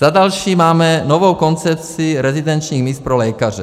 Za další, máme novou koncepci rezidenčních míst pro lékaře.